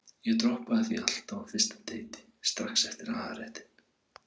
Ég droppaði því alltaf á fyrsta deiti, strax eftir aðalréttinn.